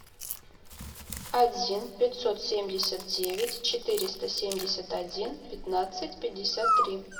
один пятьсот семьдесят девять четыреста семьдесят один пятнадцать пятьдесят три